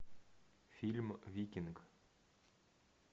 фильм викинг